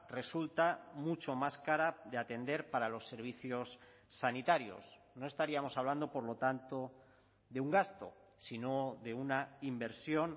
resulta mucho más cara de atender para los servicios sanitarios no estaríamos hablando por lo tanto de un gasto sino de una inversión